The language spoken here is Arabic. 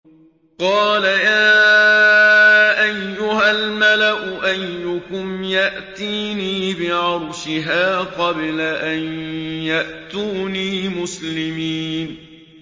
قَالَ يَا أَيُّهَا الْمَلَأُ أَيُّكُمْ يَأْتِينِي بِعَرْشِهَا قَبْلَ أَن يَأْتُونِي مُسْلِمِينَ